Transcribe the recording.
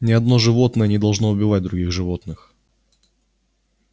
ни одно животное не должно убивать других животных